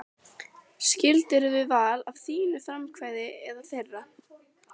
Skildirðu við Val af þínu frumkvæði eða þeirra?